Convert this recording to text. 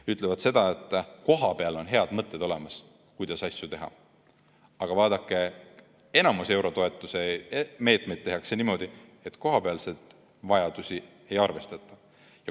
Nad ütlevad seda, et kohapeal on olemas head mõtted, kuidas asju teha, aga vaadake, enamik eurotoetuse meetmeid on tehtud niimoodi, et kohapealseid vajadusi ei arvestata.